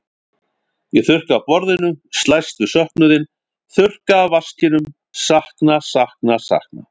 Ég þurrka af borðinu, slæst við söknuðinn, þurrka af vaskinum, sakna, sakna, sakna.